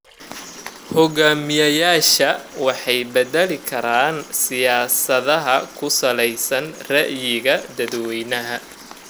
Hogaamiyayaasha waxay bedeli karaan siyaasadaha ku saleysan ra'yiga dadweynaha.